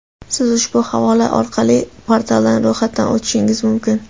Siz ushbu havola orqali portalda ro‘yxatdan o‘tishingiz mumkin: .